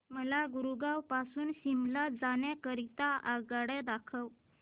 मला गुरगाव पासून शिमला जाण्या करीता आगगाड्या दाखवा